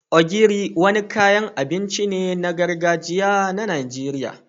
Ogiri, wani kayan abinci ne na gargajiya na Najeriya